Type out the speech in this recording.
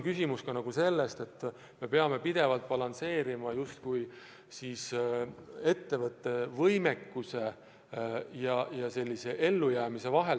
Küsimus on ka selles, et me peame pidevalt balansseerima ettevõtte võimekuse, ellujäämise võime piiril.